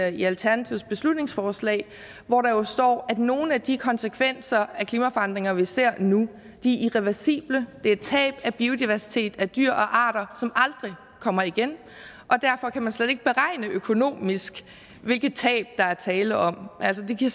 i alternativets beslutningsforslag hvor der jo står at nogle af de konsekvenser af klimaforandringerne vi ser nu er irreversible det er tab af biodiversitet af dyr og arter som aldrig kommer igen og derfor kan man slet ikke beregne økonomisk hvilke tab der er tale om altså det giver